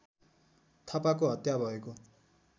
थापाको हत्या भएको